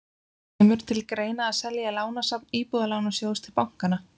Kemur til greina að selja lánasafn Íbúðalánasjóðs til bankanna?